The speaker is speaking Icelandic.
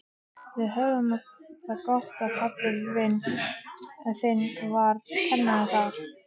Við höfðum það gott þegar pabbi þinn var kennari þar.